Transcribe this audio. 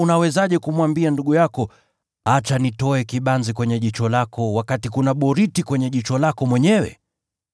Au unawezaje kumwambia ndugu yako, ‘Acha nitoe kibanzi kwenye jicho lako,’ wakati kuna boriti kwenye jicho lako mwenyewe?